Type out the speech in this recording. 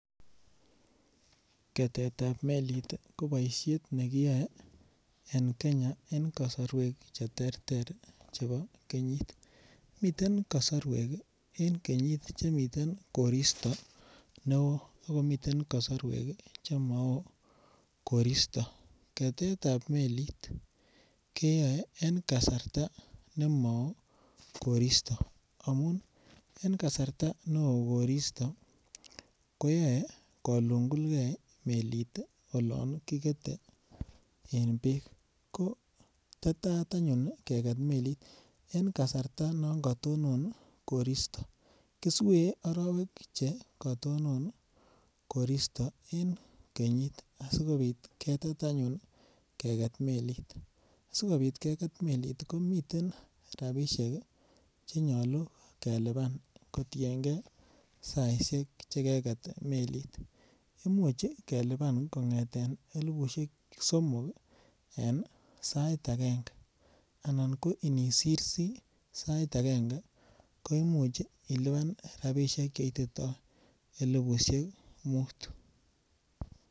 Ketetab melit ko boishet nekiyoe en Kenya en kosorwek che terter chebo kenyit. Miten kosorwek ii en kenyit chemiten koristo ne oo okomiten kosorwek che mo oo koristo, ketetab melit koyoe en kasarta ne mo oo koristo amun en kasarta ne oo koristo koyoe kolungulgee melit ii olon kikete en beek ko tetat anyun keket melit en kasarta anyun yon kotonon koristo, kusweet orowek che kotonon koristo en kenyit asikopit ketet anyun keket melit sikopit keget melit ko miten rabishek che nyoluu kelipan kotiengee saishek che keget melit, imuche kelipan kongeten elipushek somok ii en sait angenge anan nisirsi sait angenge koimuch ilipan rabishek che ititoo elipushek Mut